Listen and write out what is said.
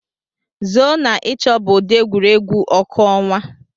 zoo na ịchọ bụ ụdị egwuregwu ọkụ ọnwa.